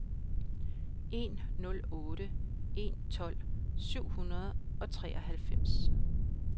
en nul otte en tolv syv hundrede og treoghalvfems